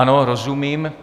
Ano, rozumím.